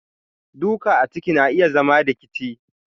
duka a jiki na iya zama rikici.